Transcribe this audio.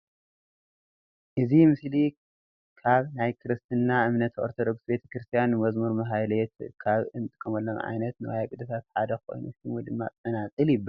እዚ ምስሊ ካብ ናይ ክርስትና እምነት ኦርቶዶክስ ቤተክርስትያን ንመዝሙርን ማህሌትን ካብ እትጥቀመሎም ዓይነታት ንዋየ ቅድሳት ሓደ ኮይኑ ሽሙ ድማ ፀናፅል ይባሃል፡፡